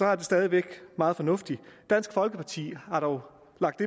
er det stadig væk meget fornuftigt dansk folkeparti har dog lagt